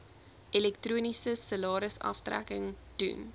elektroniese salarisaftrekking doen